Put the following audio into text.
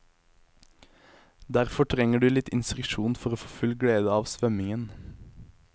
Derfor trenger du litt instruksjon for å få full glede av svømmingen.